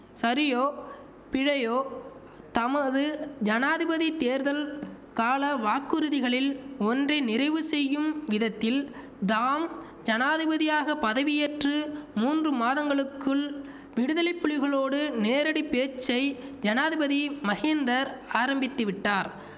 சரியோ பிழையோ தமது ஜனாதிபதி தேர்தல் கால வாக்குறுதிகளில் ஒன்றை நிறைவு செய்யும் விதத்தில் தாம் ஜனாதிபதியாக பதவியேற்று மூன்று மாதங்களுக்குள் விடுதலை புலிகளோடு நேரடி பேச்சை ஜனாதிபதி மஹிந்தர் ஆரம்பித்திவிட்டார்